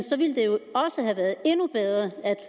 også have været endnu bedre at